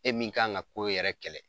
E min k'an ka ko yɛrɛ kɛlɛ